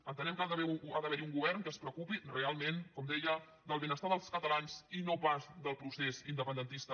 entenem que ha d’haver hi un govern que es preocupi realment com deia del benestar dels catalans i no pas del procés independentista